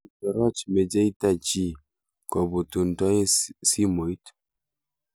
Kitoroch mecheita nyii kobuntoe simoit.